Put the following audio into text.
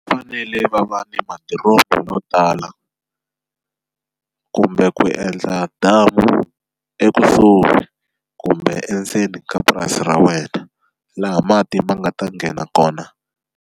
Va fanele va va ni madiromo yo tala kumbe ku endla damu ekusuhi kumbe endzeni ka purasi ra wena laha mati ma nga ta nghena kona.